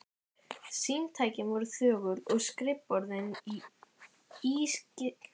Símtækin voru þögul og skrifborðin ískyggilega auð.